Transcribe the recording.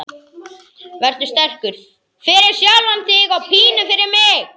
Vertu sterkur, fyrir sjálfan þig og pínu fyrir mig.